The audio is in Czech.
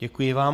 Děkuji vám.